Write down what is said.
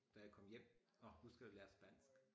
Da jeg kom hjem og huskede at lære spansk